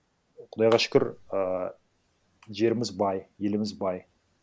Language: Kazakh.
құдайға шүкір ыыы жеріміз бай еліміз бай